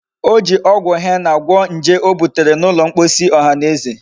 O ji ogwu henna gwo nje o butere n'ulo mkposi ohaneze